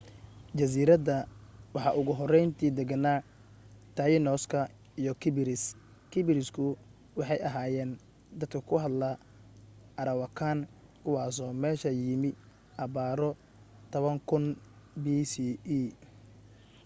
jasiiradda waxa ugu horrayntii degenaa tainos ka iyo kariibis kariibisku waxay ahaayeen dad ku hadla arawakan kuwaasoo meesha yimi abbaaro 10,000 bce